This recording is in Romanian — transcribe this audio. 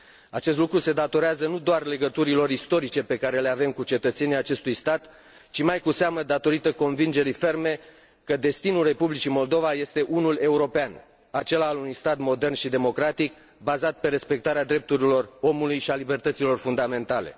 Acest lucru se datorează nu doar legăturilor istorice pe care le avem cu cetățenii acestui stat, ci mai cu seamă datorită convingerii ferme că destinul Republicii Moldova este unul european, acela al unui stat modern și democratic, bazat pe respectarea drepturilor omului și a libertăților fundamentale.